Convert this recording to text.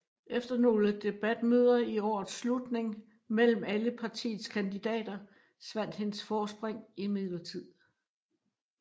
Efter nogle debatmøder i årets slutning mellem alle partiets kandidater svandt hendes forspring imidlertid